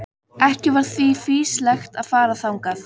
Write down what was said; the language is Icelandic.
Ekki var því fýsilegt að fara þangað.